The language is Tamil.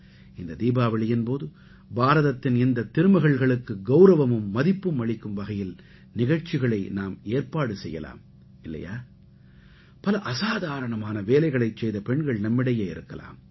இந்த தீபாவளியின் போது பாரதத்தின் இந்தத் திருமகள்களுக்கு கௌரவமும் மதிப்பும் அளிக்கும் வகையில் நிகழ்ச்சிகளை நாம் ஏற்பாடு செய்யலாம் இல்லையா பல அசாதாரணமான வேலைகளைச் செய்த பெண்கள் நம்மிடையே இருக்கலாம்